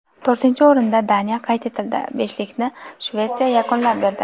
To‘rtinchi o‘rinda Daniya qayd etildi, beshlikni Shvetsiya yakunlab berdi.